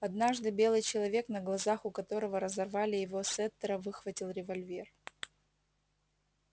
однажды белый человек на глазах у которого разорвали его сеттера выхватил револьвер